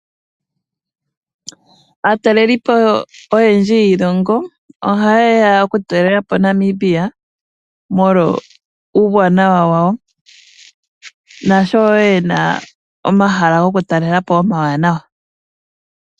Aatalelipo oyendji yiilongo ohayeya okutalela po Namibia molwa uuwanawa wawo, nasho yena omahala goku talela po omawanawa.